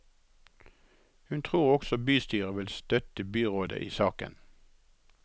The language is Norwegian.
Hun tror også bystyret vil støtte byrådet i saken.